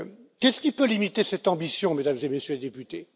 Qu'est ce qui peut limiter cette ambition, Mesdames et Messieurs les députés?